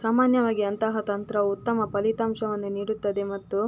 ಸಾಮಾನ್ಯವಾಗಿ ಅಂತಹ ತಂತ್ರವು ಉತ್ತಮ ಫಲಿತಾಂಶವನ್ನು ನೀಡುತ್ತದೆ ಮತ್ತು